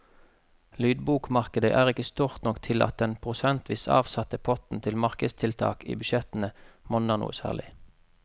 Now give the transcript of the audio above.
Lydbokmarkedet er ikke stort nok til at den prosentvis avsatte potten til markedstiltak i budsjettene monner noe særlig.